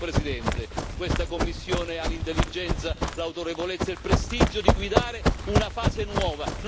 Caro Presidente, questa Commissione ha l'intelligenza, l'autorevolezza e il prestigio di guidare una fase nuova.